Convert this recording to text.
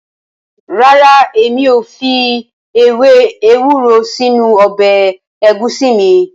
Rara, emi o fi ewe ewuro sinu ọbẹ egusi mi.